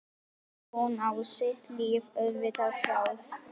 Hún á sitt líf auðvitað sjálf.